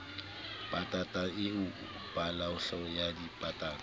patanta eo paloyohle ya dipatanta